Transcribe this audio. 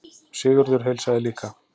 Sigurður heilsaði líka.